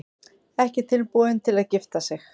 Ekki tilbúin til að gifta sig